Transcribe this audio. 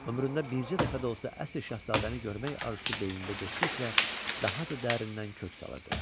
Ömründə bircə dəfə də olsa əsl şahzadəni görmək arzusu beynində getdikcə daha da dərindən kök salırdı.